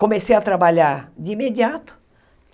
Comecei a trabalhar de imediato.